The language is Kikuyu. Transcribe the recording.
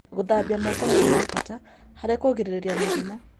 Gũthambia moko nĩ ũndũ wa bata harĩ kũgirĩrĩria mũrimũ.